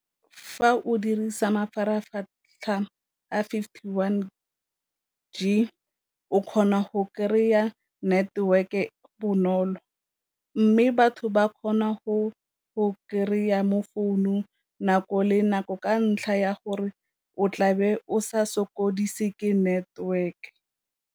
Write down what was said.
Fa o dirisa mafaratlhatlha a fifty one G o kgona go kry-a network-e bonolo, mme batho ba kgona go go kry-a mo founung nako le nako ka ntlha ya gore o tla be o sa sokodise ke network.